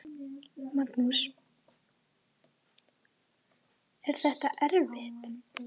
Magnús: Er þetta erfitt?